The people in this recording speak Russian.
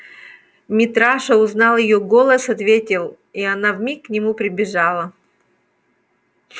митраша узнал её голос ответил и она вмиг к нему прибежала